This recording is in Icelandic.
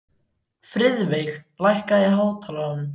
Friðveig, lækkaðu í hátalaranum.